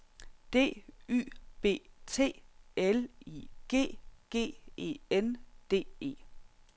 D Y B T L I G G E N D E